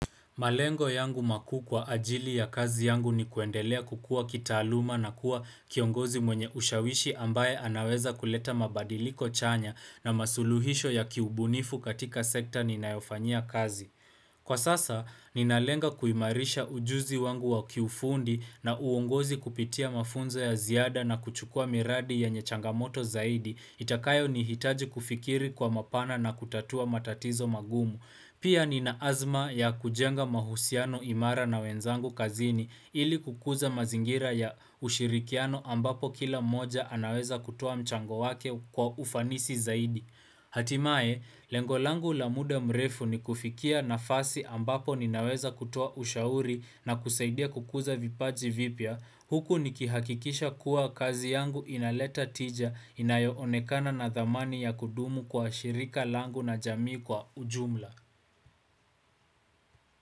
Malengo yangu makuu kwa ajili ya kazi yangu ni, kuendelea kukua kitaaluma na kuwa kiongozi mwenye ushawishi ambaye anaweza kuleta mabadiliko chanya na masuluhisho ya kiubunifu katika sekta ninayofanyia kazi. Kwa sasa, ninalenga kuimarisha ujuzi wangu wa kiufundi na uongozi kupitia mafunzo ya ziada na kuchukua miradi yenye changamoto zaidi itakayonihitaji kufikiri kwa mapana na kutatua matatizo magumu. Pia ninaazma ya kujenga mahusiano imara na wenzangu kazini. Ili kukuza mazingira ya ushirikiano ambapo kila mmoja anaweza kutuo mchango wake kwa ufanisi zaidi. Hatimaye, lengo langu la muda mrefu ni kufikia nafasi ambapo ninaweza kutoa ushauri na kusaidia kukuza vipaji vipya. Huku nikihakikisha kuwa kazi yangu inaleta tija inayoonekana na dhamani ya kudumu kwa shirika langu na jamii kwa ujumla.